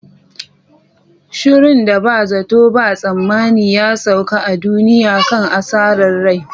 shirun da ba zato ba tsammani ya sauka a duniya kan asarar rai.